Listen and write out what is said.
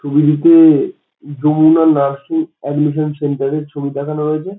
ছবিটিতে Jamuna nursing admission centre এর ছবি দেখানো হয়েছে।